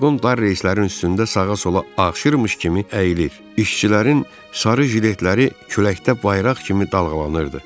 Vaqon dar reyslərin üstündə sağa-sola ağşırmış kimi əyilir, işçilərin sarı jiletləri küləkdə bayraq kimi dalğalanırdı.